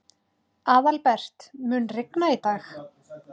Aðalbert, mun rigna í dag?